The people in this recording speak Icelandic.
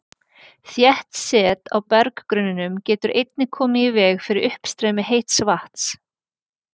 Þétt set á berggrunninum getur einnig komið í veg fyrir uppstreymi heits vatns.